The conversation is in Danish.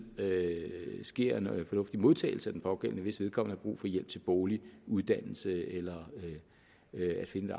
sker en fornuftig modtagelse af den pågældende hvis vedkommende har brug for hjælp til bolig uddannelse eller til at finde